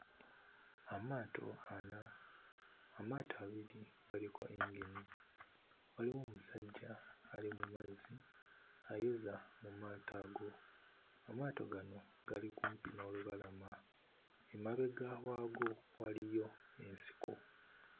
Amaato ana, amaato abiri galiko yingini waliwo omusajja ali mmazzi ayoza mu maato ago. Amaato gano gali kumpi n'olubalama, emabega waago waliyo ensiko.